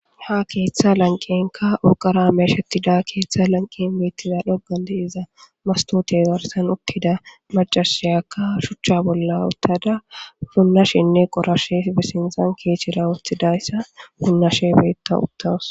Ha keththa lanqqenka uurqara meshshetida keththa lanqqen dhoqqan deiizza masottote garrssan uttida maccashiyakka shuchcha bolla uttada puunashene qoorashe be sinththan kechchera woththadayssa puunashe beetta uttawusu.